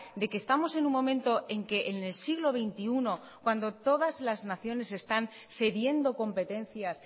de que estamos en un momento en que en el siglo veintiuno cuando todas las naciones están cediendo competencias